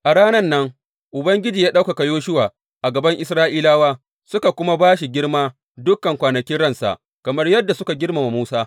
A ranan nan Ubangiji ya ɗaukaka Yoshuwa a gaban Isra’ilawa; suka kuma ba shi girma dukan kwanakin ransa, kamar yadda suka girmama Musa.